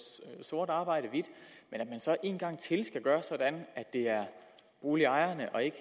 sort arbejde hvidt at man så en gang til skal gøre det sådan at det er boligejerne og ikke